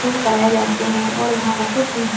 gym कराए जाते हैं और यहाँ बहुत ही जि --